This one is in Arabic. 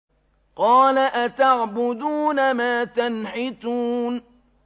قَالَ أَتَعْبُدُونَ مَا تَنْحِتُونَ